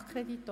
Nachkredit